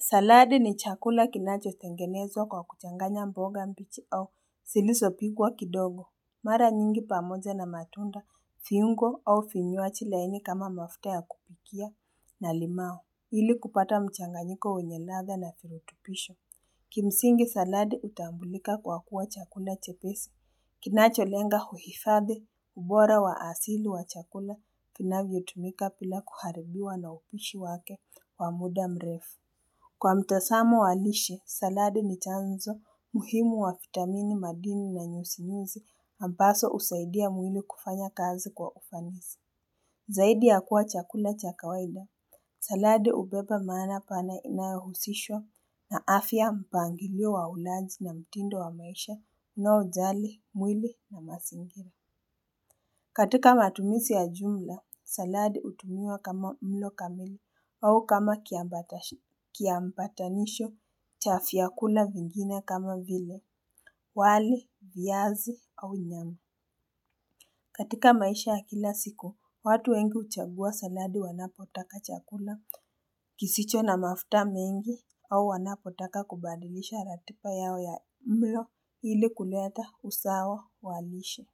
Saladi ni chakula kinacho tengenezwa kwa kuchanganya mboga mbichi au zilizopikwa kidogo. Mara nyingi pamoja na matunda viungo au vinywaji laini kama mafuta ya kupikia na limao. Ili kupata mchanganyiko wenye ladha na virutubisho. Kimsingi saladi utambulika kwa kuwa chakula chepesi. Kinacho lenga kuifadhu ubora wa asili wa chakula kinavyotumia kuharibiwa na upishi wake wa muda mrefu. Kwa mtasamo walishe, salade ni chanzo, muhimu wa vitamin, madini na nyuzinyuzi, ambazo husaidia mwili kufanya kazi kwa ufanisi. Zaidi ya kula chakula cha kawaila, saladi kubeba maana pana inayohusishwa na afya mpangilio wa ulaji na mtindo wa maisha unaojalimwili na mazingira katika matumizi ya jumla, saladi kutumiwa kama mlo kamili au kama kiambatanisho cha vyakula vingina kama vile, wali, viazi au nyama katika maisha ya kila siku, watu wengi uchagua saladi wanapotaka chakula kisicho na mafuta mengi au wanapotaka kubadilisha ratiba yao ya mlo ili kuleta usawa wa lisha.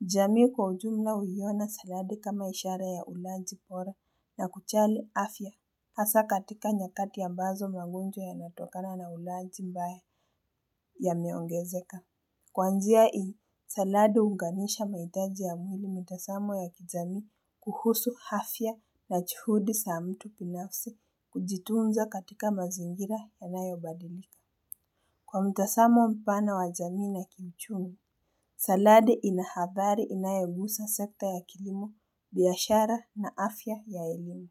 Jamii kwa ujumla uyiona saladi kama ishara ya ulaji bora na kujali afya hasa katika nyakati ya ambazo magonjwa yanayotakana ulaji ambayo yameongezeka Kuanzia hivi, saladi uunganisha mahitaji ya mwili mtazamo ya kizazi kuhusu afya na juhudi za mtu binafsi kujitunza katika mazingira ya yanayobadilika. Kwa mtazamo mpana wa jamii na kiuchumi, saladi inahabari inayohusu sekta ya kilimo, biashara na afya ya elimu.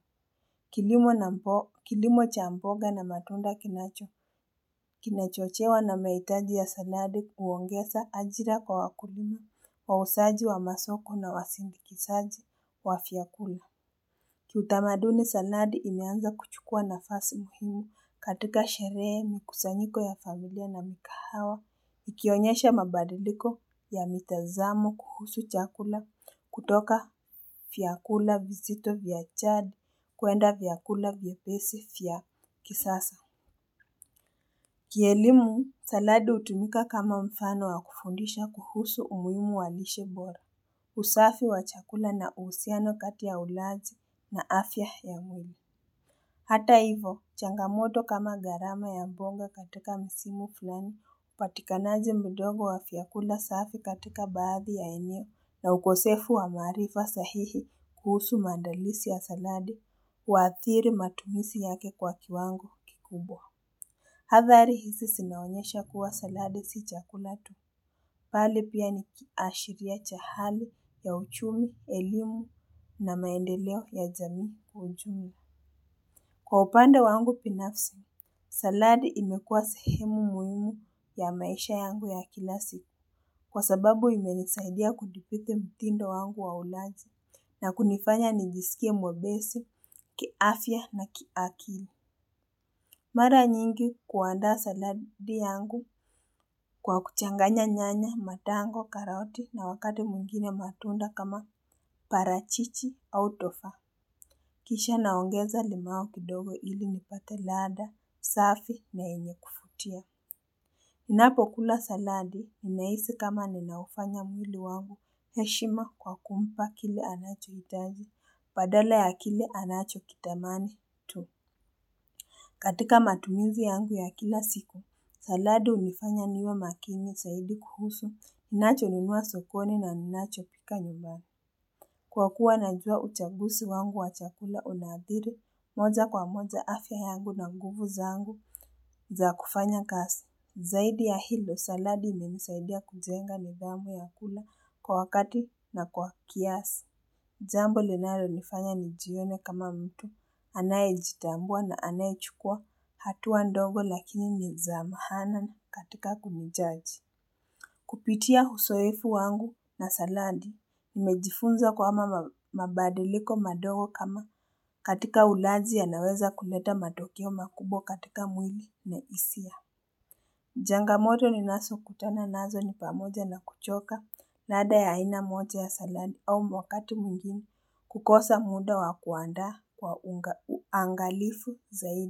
Kilimo cha mboga, kilimo cha mboga na matunda kinachochewa na mahitaji ya saladi kuongeza ajira kwa wakulima, wauzaji wa masoko na wasindikizaji wa vyakula. Kitamataduni saladi imeanza kuchukua nafasi muhimi katika sherehe, mikusanyiko ya familia na migahawa. Ikionyesha mabadiliko ya mitazamo kuhusu chakula kutoka vyakula vizito vya chadi kwenda vyakula vya vyepesi vya kisasa. Kielimu, saladi kutumika kama mfano wa kufundisha kuhusu umuhimu wa lishe bora. Usafi wa chakula na uhusiano kati ulaji na afya ya mwili. Hata hivo, changamoto kama gharama ya mboga katika misimu fulani, upatikanaji mdoga wa vyakula safi katika baadhi ya eneo na ukosefu wa maarifa sahihi kuhusu maandalizi ya saladi kuwaathiri matumizi yake kwa kiwango kikubwa. Athari hizi zinaonyesha kuwa saladi si chakula, bali pia ni kiashiria ch ahali ya uchumi, elimu na maendeleo ya jamii kwa ujumla Kwa upande wangu binafsi, saladi imekua sehemu muhimu ya maisha yangu ya kila siku kwa sababu imenisaidia kudhubiti mtindo wangu wa ulaji na kunifanya nijisikia mwepesi, kiafya na kiakili. Mara nyingi kuandaa saladi yangu kwa kuchanganya nyanya, matango, karati na wakati mwingine matunda kama parachichi au tofaa. Kisha naongeza limao kidogo ili nipate ladha, usafi na enye kuvutia. Ninapo kula saladi, unahisi kama ninabufanya mwili wangu. Heshima kwa kumpa kile anachoitaji, badala ya kile anacho kitamani tu. Katika matumizi yangu ya kila siku, saladi unifanya niwe makini zaidi kuhusu. Ninacho nunua sokoni na ninacho pika nyumbani. Saladi ni chakula kinacho tengenezwa kwa kuchanganya mboga mbichi au zilizopikwa kidogo. Zaidi ya hilo, saladi imnisaidia kujenga nidhamu ya kula kwa wakati na kwa kiasi. Jambo linalonifanya nijione kama mtu, anayejitambua na anayechukua hatua ndogo lakini ni za maana katika kumjaji Kupitia uzoefu wangu na saladi, nimejifunza kwamba mabadiliko madogo kama katika ulaji yanaweza kuleta matokeo makubw katika mwili na hisia changamoto ninazo kutokana nazo ni pamoja na kuchoka ladh ya aina moja ya saladi au wakati mwengine kukosa muda wa kuandaa kwa uangalifu zaidi.